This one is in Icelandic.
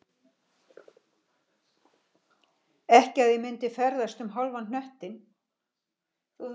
Ekki að ég myndi ferðast um hálfan hnöttinn